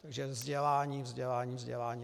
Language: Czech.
Takže vzdělání, vzdělání, vzdělání.